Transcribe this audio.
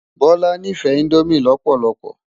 Bola nífè indómi lòpòlòlòpò